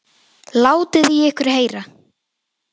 Látið í ykkur heyra!